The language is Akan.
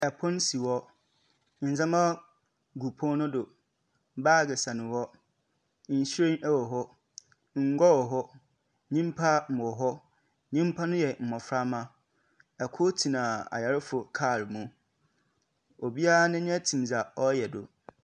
Pon si hɔ. Ndzɛmba gu pon no do. Baage si hɔ. Nhyiren wɔ hɔ. Ngua wɔ hɔ. Nyimpa wɔ hɔ. Nyimpa no mboframba. Kor tsena ayarfo kaal mu. Obiara n'enyiwa tsim dza ɔreyɛ do.